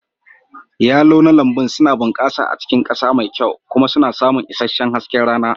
Yalon na lambun suna bunƙasa a cikin ƙasa mai kyau kuma suna samun isasshen hasken rana.